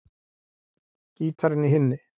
Gítarinn í hinni.